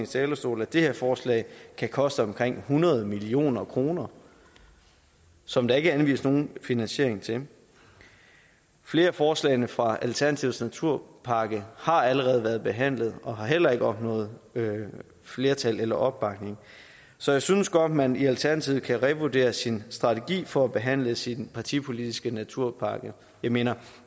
talerstol at det her forslag kan koste omkring hundrede million kr som der ikke er anvist nogen finansiering til flere af forslagene fra alternativets naturpakke har allerede været behandlet og har heller ikke opnået flertal eller opbakning så jeg synes godt man i alternativet kan revurdere sin strategi for at behandle sin partipolitiske naturpakke jeg mener